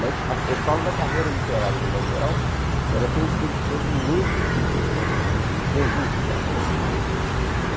Mas eu falo da carreira literária de um modo geral, ela tem sido sempre muito difícil, o o o conjunto dela.